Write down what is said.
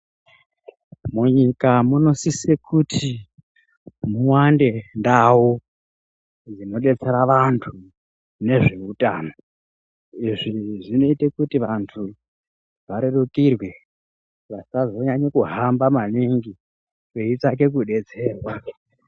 Munyika munosise kuti muwande ndau dzinodetsera vantu ngezveutano izvi zvinoite kuti vantu varerukirwe vasazonyanya kuhamba maningi veitsvaka kudetserwa.